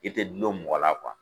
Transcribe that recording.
I tɛ dulon mɔgɔ la